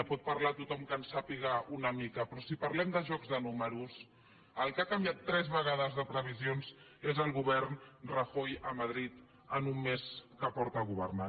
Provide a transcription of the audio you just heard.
en pot parlar tothom que en sàpiga una mica però si parlem de jocs de números el que ha canviat tres vegades de previsions és el govern rajoy a madrid en un mes que fa que governa